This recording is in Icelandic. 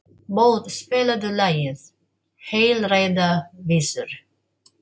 Bót, spilaðu lagið „Heilræðavísur“.